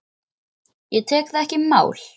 Ég tek það ekki í mál!